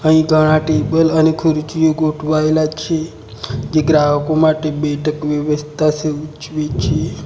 અહીં ઘણા ટેબલ અને ખુરચીઓ ગોઠવાયેલા છે જે ગ્રાહકો માટે બેઠક વ્યવસ્થા સૂચવે છે.